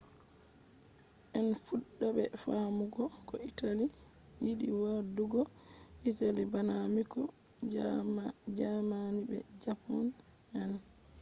en fuɗɗa be faamugo ko italy yiɗi waɗugo. italy bana miko” jaamani be japan on